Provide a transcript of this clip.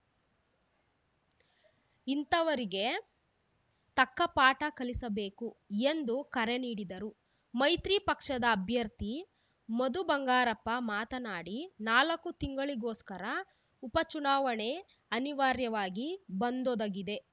ಇಂತಹವರಿಗೆ ತಕ್ಕ ಪಾಠ ಕಲಿಸಬೇಕು ಎಂದು ಕರೆ ನೀಡಿದರು ಮೈತ್ರಿ ಪಕ್ಷದ ಅಭ್ಯರ್ಥಿ ಮಧು ಬಂಗಾರಪ್ಪ ಮಾತನಾಡಿ ನಾಲ್ಕು ತಿಂಗಳಿಗೋಸ್ಕರ ಉಪಚುನಾವಣೆ ಅನಿವಾರ್ಯವಾಗಿ ಬಂದೊದಗಿದೆ